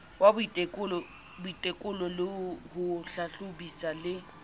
wa boitekolo ho hlahlobisa le